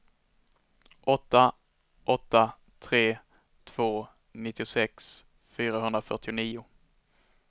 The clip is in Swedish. åtta åtta tre två nittiosex fyrahundrafyrtionio